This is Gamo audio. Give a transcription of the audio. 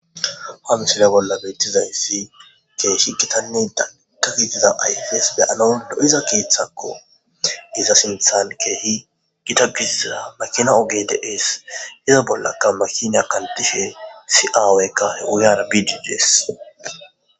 Ha misile bolla beettiza issi keehi hittanne dalgga gidida ayfes beyanas lo'iza keeththakko iza sinththan keehi giitta gidiza makina oogey dees iza bollakka makina kantiaiya issi aawaykka oogeyara biiddi dees